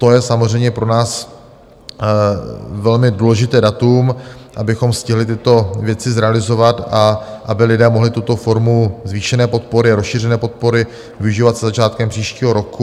To je samozřejmě pro nás velmi důležité datum, abychom stihli tyto věci zrealizovat a aby lidé mohli tuto formu zvýšené podpory a rozšířené podpory využívat se začátkem příštího roku.